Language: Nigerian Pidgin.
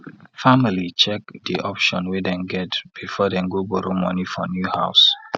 family check di option wey dem get before dem go borrow money for new house